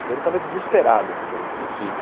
Então ele estava desesperado com o problema do filho.